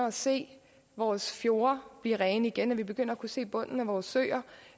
at se vores fjorde blive rene igen vi begynder at kunne se bunden af vores søer